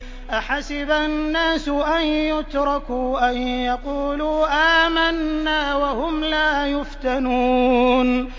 أَحَسِبَ النَّاسُ أَن يُتْرَكُوا أَن يَقُولُوا آمَنَّا وَهُمْ لَا يُفْتَنُونَ